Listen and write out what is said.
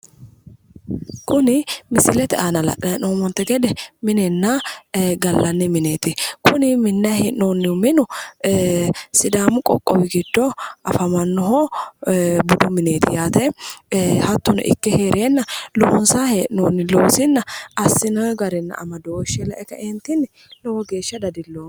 kuni misilete aana la'nanni hee'noommonte gede minenna gallanni mineeti kuni minnanni hee'noonnihu minu sidaamu qoqqowi giddo afamannoho budu mineeti yaate ee hattono ikke heereenna loonsanni hee'noonni loosinna assinoonni garanni amadooshshe lae kaeentinni lowo geeshsha dadilloomma.